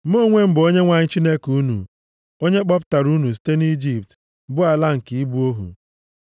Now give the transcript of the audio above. “Mụ onwe m bụ Onyenwe anyị Chineke unu, onye kpọpụtara unu site nʼIjipt, bụ ala nke ibu ohu.